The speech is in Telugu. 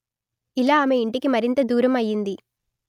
ఇలా ఆమె ఇంటికి మరింత దూరం అయింది